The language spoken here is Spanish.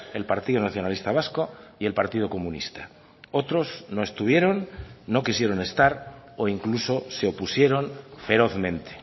el partido nacionalista vasco y el partido comunista otros no estuvieron no quisieron estar o incluso se opusieron ferozmente